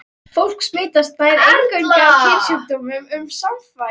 Fólk smitast nær eingöngu af kynsjúkdómum við samfarir.